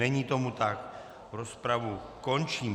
Není tomu tak, rozpravu končím.